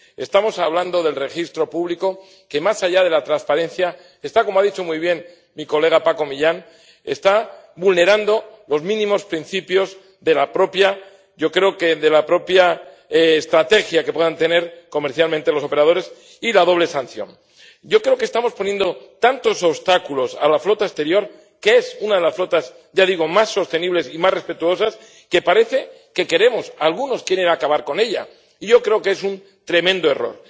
Estamos hablando del registro público, que, más allá de la transparencia, está —como ha dicho muy bien Paco Millán— vulnerando los mínimos principios de la propia estrategia que puedan tener comercialmente los operadores y la doble sanción. Creo que estamos poniendo tantos obstáculos a la flota exterior —que es una de las flotas, ya digo, más sostenibles y más respetuosas— que parece que algunos quieren acabar con ella, y yo creo que es un tremendo error.